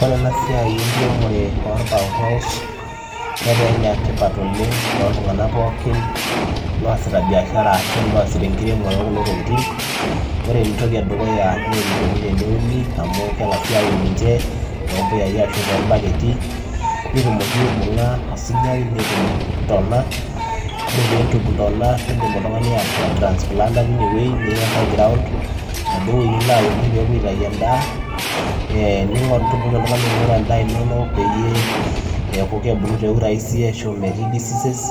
Oree enaa siai enkiremoree oo pawpaw netaa ene tipat oleng too ilntunganak pookin oositaa biashara oree enedukuya naa enikonii teneuni kengasii aun ninje too mpuyai netumokii aanoto intona ni transplant niyaa enkae ground nepuei aunie nitumokii ainguraa endaa ino peyiee ebulu te urahisi metaa mibung disease